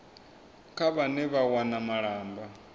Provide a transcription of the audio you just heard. kha vhane vha wana malamba